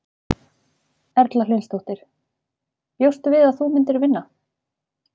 Erla Hlynsdóttir: Bjóstu við að þú myndir vinna?